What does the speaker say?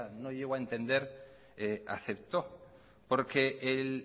no llego a entender aceptó porque el